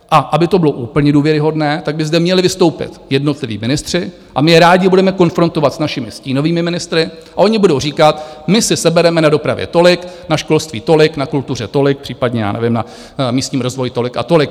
A aby to bylo úplně důvěryhodné, tak by zde měli vystoupit jednotliví ministři, a my je rádi budeme konfrontovat s našimi stínovými ministry, a oni budou říkat, my si sebereme na dopravě tolik, na školství tolik, na kultuře tolik, případně, já nevím, na místním rozvoji tolik a tolik.